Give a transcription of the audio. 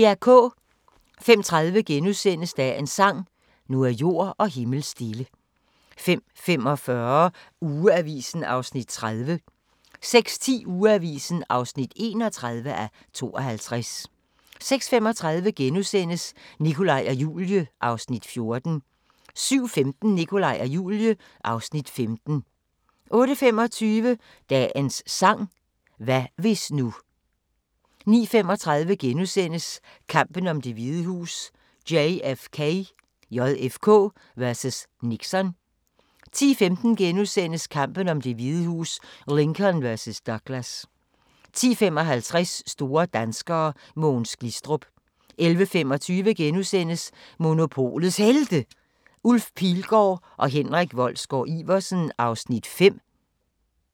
05:30: Dagens sang: Nu er jord og himmel stille * 05:45: Ugeavisen (30:52) 06:10: Ugeavisen (31:52) 06:35: Nikolaj og Julie (Afs. 14)* 07:15: Nikolaj og Julie (Afs. 15) 08:25: Dagens sang: Hvad hvis nu 09:35: Kampen om Det Hvide Hus: JFK vs. Nixon * 10:15: Kampen om Det Hvide Hus: Lincoln vs. Douglas * 10:55: Store danskere: Mogens Glistrup 11:25: Monopolets Helte – Ulf Pilgaard og Henrik Wolsgaard-Iversen (5:12)*